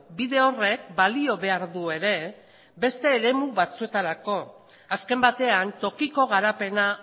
bide horrek balio behar du ere beste eremu batzuetarako azken batean tokiko garapena